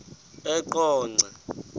eqonco